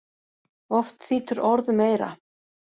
Oft þýtur orð um eyra.